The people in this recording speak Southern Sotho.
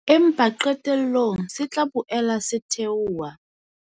Empa qetellong se tla boela se theoha.